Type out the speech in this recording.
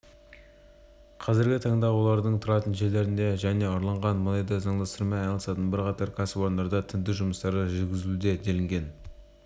қазіргі таңда олардың тұратын жерлерінде және ұрланған мұнайды заңдастырумен айналысатын бірқатар кәсіпорындарда тінту жұмыстары жүргізілуде делінген